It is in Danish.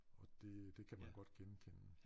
Og det det kan man godt genkende